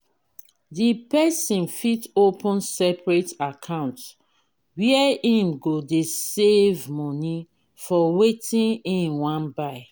di person fit open separate account where im go dey save money for wetin im wan buy